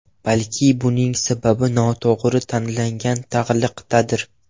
Balki buning sababi noto‘g‘ri tanlangan taglikdadir.